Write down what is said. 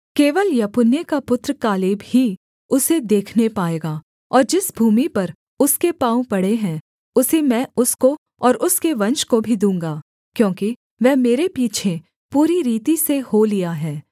केवल यपुन्ने का पुत्र कालेब ही उसे देखने पाएगा और जिस भूमि पर उसके पाँव पड़े हैं उसे मैं उसको और उसके वंश को भी दूँगा क्योंकि वह मेरे पीछे पूरी रीति से हो लिया है